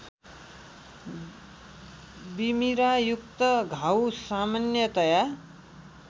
बिमिरायुक्त घाउ सामान्यतया